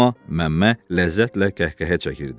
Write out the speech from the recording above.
Amma Məmmə ləzzətlə kəhkəhə çəkirdi.